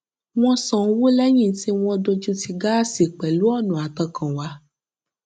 wọn san owó lẹyìn tí wọn dojútì gáàsì pẹlú ọnà àtọkànwá